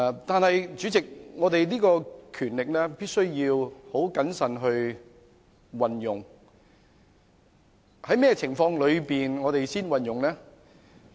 然而，立法會的權力必須謹慎運用，在甚麼情況下才運用呢？